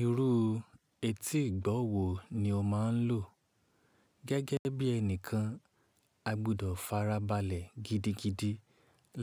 Irú etí ìgbọ́wo ni o máa ń lò gẹ́gẹ́ bí ẹnìkan a gbọdọ̀ farabalẹ̀ gidigidi